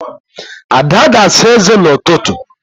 Ada ga-asa ézé n'ụtụtụ.